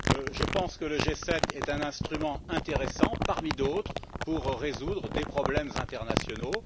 Je pense que le G7 est un instrument intéressant parmi d'autres pour résoudre des problèmes internationaux.